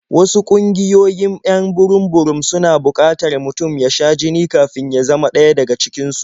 Wasu ƙungiyoyin 'yan burum-burum suna buƙatar mutum ya sha jini kafin ya zama ɗaya daga cikin su.